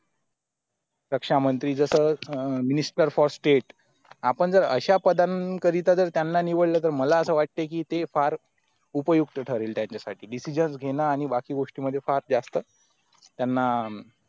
रक्षामंत्री जस अह minister for state आपण जर अश्या पदांकरिता जर त्यांना निवडलं तर मला असा की ते फार उपयुक्त ठरेल त्यांचेसाठी Decisions आणि बाकी गोष्टीमध्ये फार जास्त त्यांना